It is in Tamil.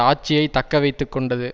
ஆட்சியை தக்க வைத்து கொண்டது